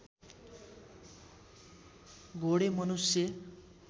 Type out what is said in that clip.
घोडे मनुष्य